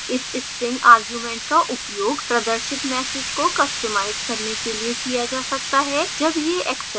इस string argument का उपयोग प्रदर्शित message को customize करने के लिए किया जा सकता है जब यह exception आता है